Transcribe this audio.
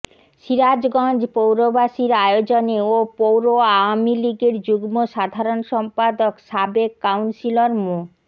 সিরাজগঞ্জ পৌরবাসীর আয়োজনে ও পৌর আওয়ামী লীগের যুগ্ম সাধারণ সম্পাদক সাবেক কাউন্সিলর মো